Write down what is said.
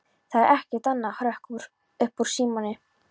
Það er ekkert annað hrökk upp úr Símoni.